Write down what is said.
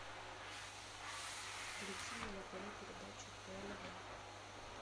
включи мне на тв передачу тнв